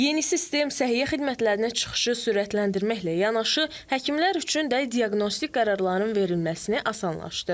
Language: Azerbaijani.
Yeni sistem səhiyyə xidmətlərinə çıxışı sürətləndirməklə yanaşı, həkimlər üçün də diaqnostik qərarların verilməsini asanlaşdırır.